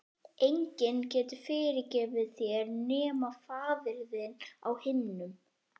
Enginn getur fyrirgefið þér nema faðir þinn á himnum.